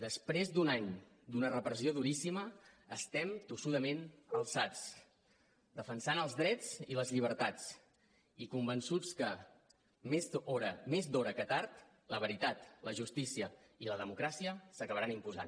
després d’un any d’una repressió duríssima estem tossudament alçats defensant els drets i les llibertats i convençuts que més d’hora que tard la veritat la justícia i la democràcia s’acabaran imposant